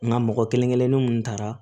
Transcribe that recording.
Nka mɔgɔ kelen kelennin minnu taara